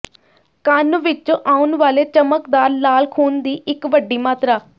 ਕੰਨ ਵਿੱਚੋਂ ਆਉਣ ਵਾਲੇ ਚਮਕਦਾਰ ਲਾਲ ਖੂਨ ਦੀ ਇੱਕ ਵੱਡੀ ਮਾਤਰਾ